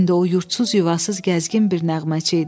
İndi o yurdsuz, yuvasız gəzgin bir nəğməçi idi.